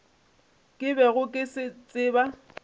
ke bego ke se tseba